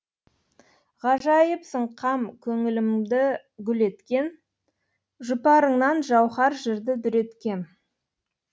ғажайыпсың қам көңілімді гүл еткен жұпарыңнан жауһар жырды дүреткем